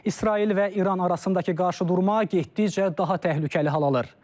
İsrail və İran arasındakı qarşıdurma getdikcə daha təhlükəli hal alır.